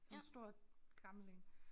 Sådan stor gammel én